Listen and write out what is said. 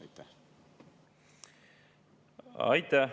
Aitäh!